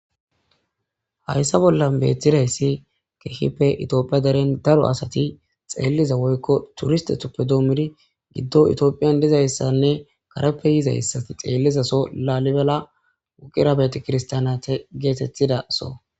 Hayssa bollan beettida issi keehippe toophiya deren daro asati xeelliza woykko turistethuppe doomidi giddo toophiyan diza issanne kareppe yiza assati xeellizaso laalibela wuqira beete kirstanate geetetti de'aso.